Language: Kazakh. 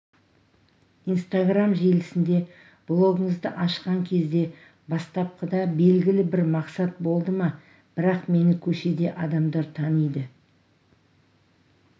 инстаграм желісінде блогыңызды ашқан кезде бастапқыда белгілі бір мақсат болды ма бірақ мені көшеде адамдар таниды